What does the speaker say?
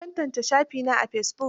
An tantance shafina a fesibuk.